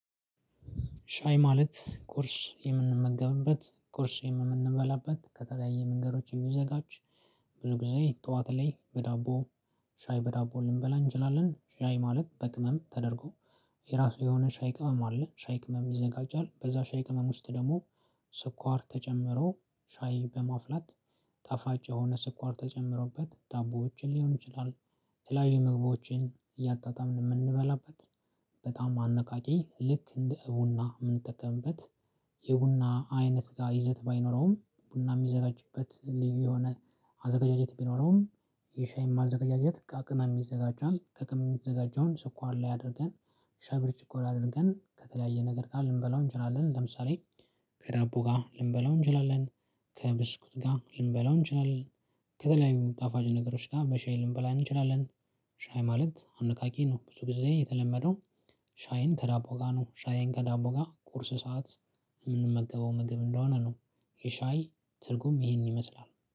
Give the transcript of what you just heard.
ሻይ ማለት ቁርስ የምንመገብበት ቁርስ የምንበላበት ከተለያየ መንገዶች የሚዘጋጅ ብዙ ጊዜ ጠዋት ላይ በዳቦ ሻይ በዳቦ ልንበላ እንችላለን። ሻይ ማለት በቅመም ተደርጎ። የራሱ የሆነ ሻይ ቅመም አለ ሻይ ቅመም ይዘጋጃል። በዛ ሻይ ቅመም ውስጥ ደግሞ ስኳር ተጨምሮ ሻይ በማፍላት። ጣፋጭ የሆነ ስኳር ተጨምሮበት ዳቦዎችን ሊሆን ይችላል። የተለያዩ ምግቦችን እያጣጣምን እምንበላበት በጣም አነቃቂ ልክ እንደ ቡና እምንጠቀምበት። የቡና አይነት ጋር ይዘት ባይኖረውም ቡና እሚዘጋጅበት ሊዩ የሆነ አዘጋጃጀት ቢኖረውም። የሻይም አዘጋጃጀት ከቅመም ይዘጋጃል ከቅመም የተዘጋጀውን ስኳር ላይ አድርገን። ሻይ ብርጭቆ ላይ አድርገን ከተለያየ ነገር ጋር ልንበላው እንችላለን። ለምሳሌ ከዳቦ ጋር ልንበላው እንችላለን። ከብስኩት ጋር ልንበላው እንችላለን። ከተለያዩ ጣፋጭ ነገሮች ጋር በሻይ ልንበላ እንችላለን። ሻይ ማለት አነቃቂ ነው። ብዙ ጊዜ የተለመደው ሻይን ከዳቦ ጋር ነው ሻይን ከዳቦ ጋር ቁርስ ሰዓት እምንመገበው ምግብ እንደሆነ ነው። የሻይ ትርጉም ይሄን ይመስላል